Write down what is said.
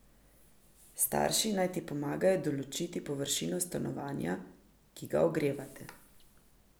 Starši naj ti pomagajo določiti površino stanovanja, ki ga ogrevate.